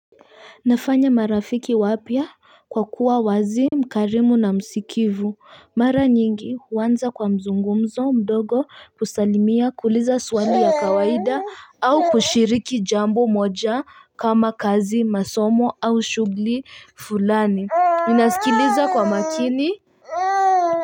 Nafanya marafiki wapya kwa kuwa wazi, mkarimu na msikivu. Mara nyingi huanza kwa mazungumzo madogo, kusalimia, kuuliza swali ya kawaida au kushiriki jambo moja kama kazi, masomo au shughuli fulani. Ninasikiliza kwa makini.